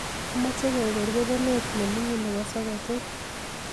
Amache keger kebenet nemining nebo soketit